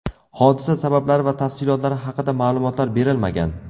Hodisa sabablari va tafsilotlari haqida ma’lumotlar berilmagan.